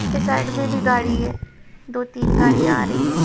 उसके साइड में भी गाड़ी है दो तीन गाड़ियाँ आ रही है।